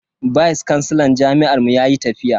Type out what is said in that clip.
Vice kansilan jami'ar mu yayi tafiya.